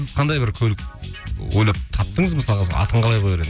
сіз қандай бір көлік ойлап таптыңыз мысалға атын қалай қояр